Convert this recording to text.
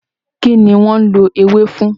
Kí ni wọ́n ń lò ewé fún?